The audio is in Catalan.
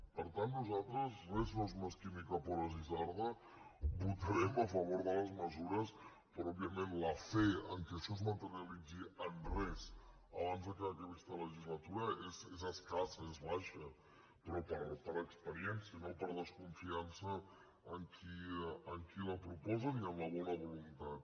per tant nosaltres res no és mesquí ni cap hora és isarda votarem a favor de les mesures però òbviament la fe que això es materialitzi en res abans que acabi aquesta legislatura és escassa és baixa però per experiència no per desconfiança en qui la proposa ni en la bona voluntat